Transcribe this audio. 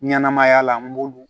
Ɲɛnɛmaya la n b'olu